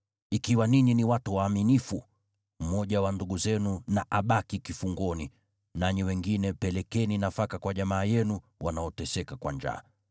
Ikiwa ninyi ni watu waaminifu, mmoja wa ndugu zenu na abaki kifungoni, nanyi wengine pelekeni nafaka kwa jamaa yenu wanaoteseka kwa njaa.